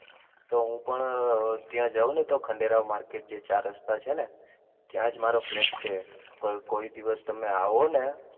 તો હું પણ ત્યાં જાઉં ને તો ખંડેરાવ માર્કેટ જે ચાર રસ્તા છે ને ત્યાજ મારો ફ્લેટ છે, કોઈ દિવસ તમે આવો ને,